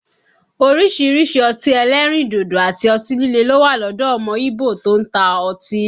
Orísìírísìí ọtí ẹlẹ́rìndòdò àti ọtí líle ló wà lọ́dọ̀ ọmọ ígbò tó ń ta ọtí